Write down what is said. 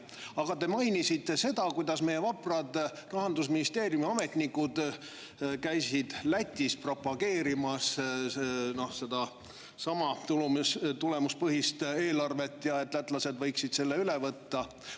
Aga te mainisite seda, kuidas meie vaprad Rahandusministeeriumi ametnikud käisid Lätis propageerimas sedasama tulemuspõhist eelarvet ja et lätlased võiksid selle üle võtta.